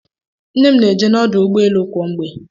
Nne m na-eje n'ọdụ ụgbọelu kwa mgbe.